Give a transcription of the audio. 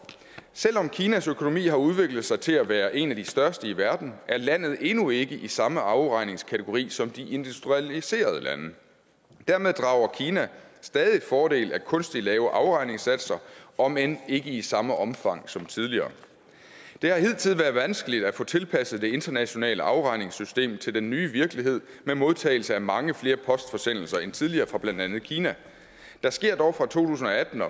selv om kinas økonomi har udviklet sig til at være en af de største i verden er landet endnu ikke i samme afregningskategori som de industrialiserede lande og dermed drager kina stadig fordel af kunstigt lave afregningssatser om end ikke i samme omfang som tidligere det har hidtil været vanskeligt at få tilpasset det internationale afregningssystem til den nye virkelighed med modtagelse af mange flere postforsendelser end tidligere fra blandt andet kina der sker dog fra to tusind og atten